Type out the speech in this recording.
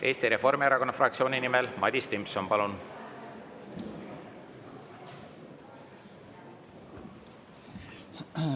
Eesti Reformierakonna fraktsiooni nimel Madis Timpson, palun!